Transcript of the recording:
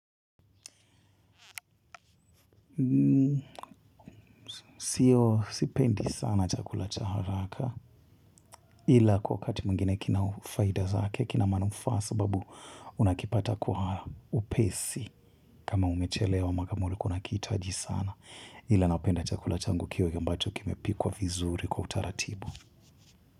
Sio sipendi sana chakula cha haraka ila kwa wakati mwingine kina ufaida zake kina manufaa sababu unakipata kwa upesi kama umechelewa ama kama ulikuwa unakihitaji sana ila napenda chakula changu kiwe ambacho kimepikwa vizuri kwa utaratibu.